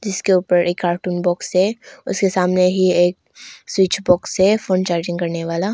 जिसके ऊपर cartoon box है उसके सामने ही एक स्विच बॉक्स है फोन चार्जिंग करने वाला।